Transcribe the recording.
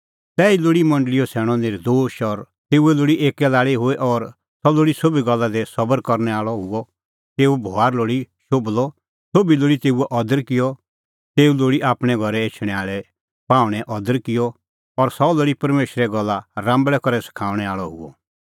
तैही लोल़ी मंडल़ीओ सैणअ नर्दोश और तेऊए लोल़ी एक्कै लाल़ी हुई और सह लोल़ी सोभी गल्ला दी सबर करनै आल़अ हुअ तेऊओ बभार लोल़ी शोभलअ सोभी लोल़ी तेऊओ अदर किअ तेऊ लोल़ी आपणैं घरै एछणैं आल़ै पाहुंणैंओ अदर किअ और सह लोल़ी परमेशरे गल्ला राम्बल़ै करै सखाऊंणै आल़अ हुअ